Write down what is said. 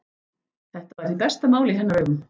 Þetta var hið besta mál í hennar augum.